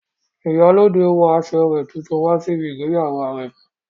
Ìyálóde wọ aṣọ rẹ̀ tuntun wá síbi ìgbéyàwó àrẹ̀mọ